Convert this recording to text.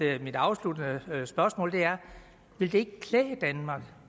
er mit afsluttende spørgsmål ville det ikke klæde danmark